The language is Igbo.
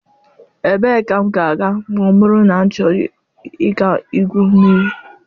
Ebee ka m ga-aga ma ọ bụrụ na m chọrọ ịga igwu mmiri?